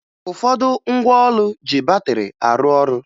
Ụfọdụ ngwa ụlọ ji batịrị arụ ọrụ